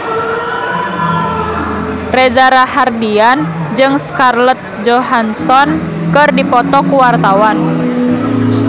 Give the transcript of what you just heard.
Reza Rahardian jeung Scarlett Johansson keur dipoto ku wartawan